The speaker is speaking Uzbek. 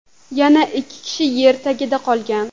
Yana ikki kishi yer tagida qolgan.